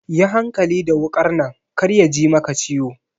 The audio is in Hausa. Yi hankali da wukar nan kar yaji maka ciwo.